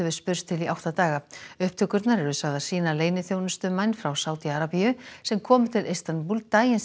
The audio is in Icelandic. spurst til í átta daga upptökurnar eru sagðar sýna leyniþjónustumenn frá Sádi Arabíu sem komu til Istanbúl daginn sem